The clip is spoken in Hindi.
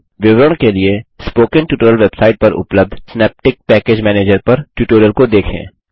विवरण के लिए स्पोकन ट्यूटोरियल वेबसाइट पर उपलब्ध सिनैप्टिक पैकेज मैनेजर पर ट्यूटोरियल को देखें